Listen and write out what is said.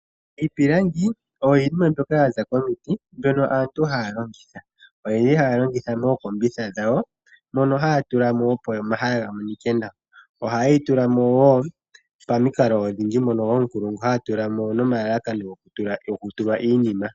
Iipilangi oyo iinima mbyoka yaza komiti mbyoka aantu haya longitha, oyendji ohaya longitha mookombitha dhawo moka haya tula mo opo omahala ga monike nawa oha yeyi tula mo wo pamikalo odhindji mono ookulungu haye dhi tula mo nomalalakano goku tulwa iinima.